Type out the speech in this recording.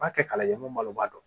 B'a kɛ kala ye mun balo b'a dɔn